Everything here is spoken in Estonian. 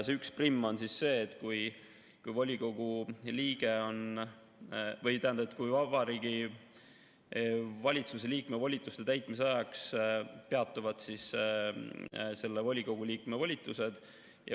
11 on see, kui Vabariigi Valitsuse liikme volituste täitmise ajaks peatuvad selle volikogu liikme volitused.